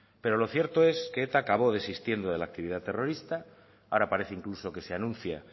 pero lo cierto es que eta acabó desistiendo de la actividad terrorista ahora parece incluso que se anuncia